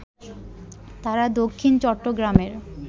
তারা দক্ষিণ চট্টগ্রামের